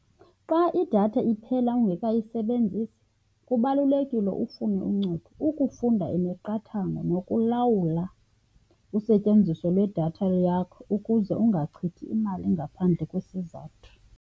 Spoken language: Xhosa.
Xa idatha iphela ungekayisebenzisi kubalulekile ufune uncedo, ukufunda imiqathango nokulawula usetyenziso lwedatha yakho ukuze ungachithi imali ngaphandle kwesizathu.